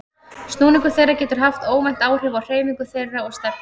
Snúningur þeirra getur haft óvænt áhrif á hreyfingu þeirra og stefnu.